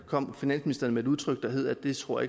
kom finansministeren med et udtryk der hed det tror